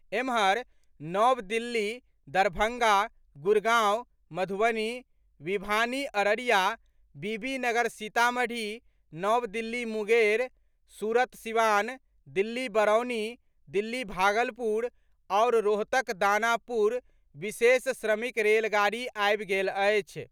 एम्हर, नव दिल्ली दरभंगा, गुड़गांव मधुबनी, विभानी अररिया, बीबीनगर सीतामढ़ी, नव दिल्ली मुंगेर, सूरत सिवान, दिल्ली बरौनी, दिल्ली भागलपुर आओर रोहतक दानापुर विशेष श्रमिक रेलगाड़ी आबि गेल अछि।